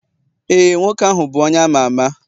ee, nwoke ahụ bụ onye ama ama